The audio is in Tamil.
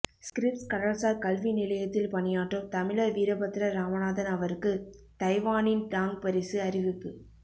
ஸ்க்ரிப்ஸ் கடல்சார் கல்வி நிலையத்தில் பணியாற்றும் தமிழர் வீரபத்ரன் ராமநாதன் அவருக்கு தைவானின் டாங் பரிசு அறிவிப்பு